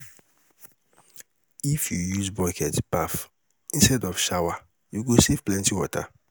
If you use bucket bath instead of shower, you go save plenty water.